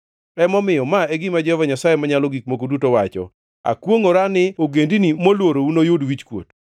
Emomiyo ma e gima Jehova Nyasaye Manyalo Gik Moko Duto wacho: Akwongʼora ni ogendini molworou noyud wichkuot.